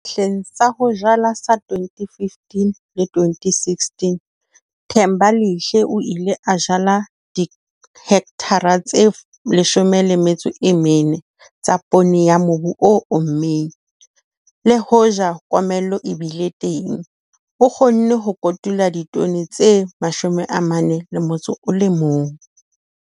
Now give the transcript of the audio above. Hleng sa ho jala sa 2015-2016, Thembalihle o ile a jala dihekthara tse 14 tsa poone ya mobu o ommeng. Le hoja komello e bile teng, o kgonne ho kotula ditone tse 41.